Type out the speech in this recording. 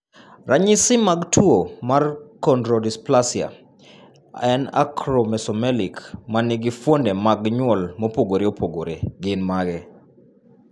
Ranyisi mag tuwo marChondrodysplasia en acromesomelic ma nigi fuonde mag nyuol mopogore opogore gin mage?